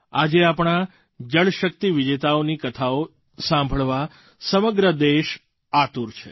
આજે આપણા જળશક્તિ વિજેતાઓની કથાઓ સાંભળવા સમગ્ર દેશ આતુર છે